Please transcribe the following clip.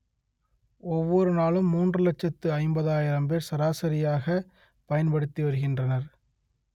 ஒவ்வொரு நாளும் மூன்று லட்சத்து ஐம்பதாயிரம் பேர் சராசரியாக பயன்படுத்தி வருகின்றனர்